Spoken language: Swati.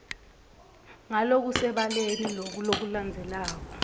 ngalokusebaleni loku lokulandzelako